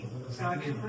Sakit.